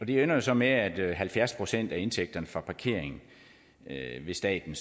det ender jo så med at at halvfjerds procent af indtægterne fra parkering vil staten